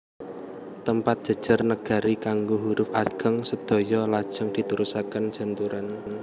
Tempat jejer negari kanggo huruf ageng sedaya lajeng diterasaken janturan